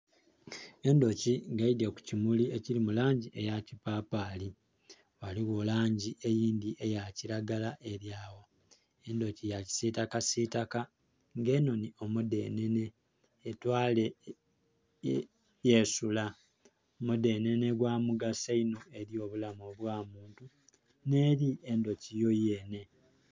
Endhuki nga eidye kukimuli ekiri mulangi eyakipapali ghaligho langi eyindhi eyakiragala eryawo. Endhuki yakisitaka sitaka nga enhonye omudhenhenhe etwale yesura, omudhenhenhe gwamugaso inho eri obulamu obw'omuntu n'eri endhuki yoyenhe.